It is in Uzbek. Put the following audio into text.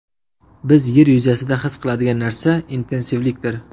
Biz yer yuzasida his qiladigan narsa intensivlikdir.